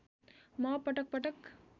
म पटकपटक